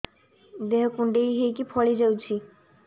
ଦେହ କୁଣ୍ଡେଇ ହେଇକି ଫଳି ଯାଉଛି